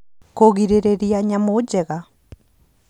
Kũgirĩrĩria Nyamũ Njega